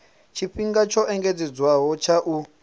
tshifhinga tsho engedzedzwaho tsha u